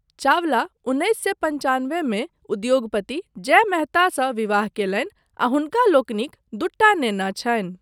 चावला उन्नैस सए पञ्चानबे मे उद्योगपति जय मेहतासँ विवाह कयलनि आ हुनका लोकनिक दूटा नेना छनि।